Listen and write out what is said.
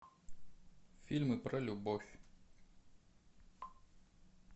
фильмы про любовь